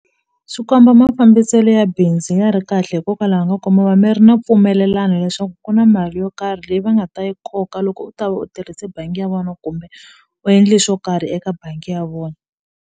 Swi komba mafambiselo ya bindzu ya ri kahle hikokwalaho ka ku mi va mi ri na mpfumelelano leswaku ku na mali yo karhi leyi va nga ta yi koka loko u ta va u tirhise bangi ya vona kumbe u endle swo karhi eka bangi ya vona.